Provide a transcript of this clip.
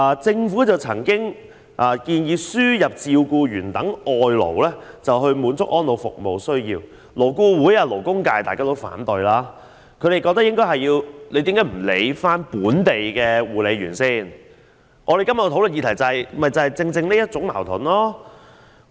政府曾經建議輸入照顧員等外勞以滿足安老服務的需要，但勞工顧問委員會和勞工界均表示反對，認為應該先照顧本地護理員的工作需要，我們今天討論的議題正在於這種矛盾。